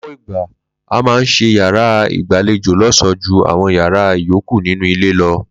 Ló̩pò̩ ìgbà, a máa ń s̩e yàrá ìgbàlejò ló̩s̩ò̩ó̩ ju àwo̩n yàrá ìyókù nínú ilé lo̩